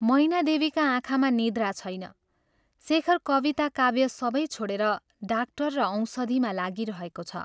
मैनादेवीका आँखामा निद्रा छैन शेखर कविता काव्य सबै छोडेर डाक्टर र औषधिमा लागिरहेको छ।